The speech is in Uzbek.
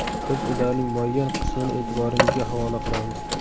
Biz ularning muayyan qismini e’tiboringizga havola qilamiz .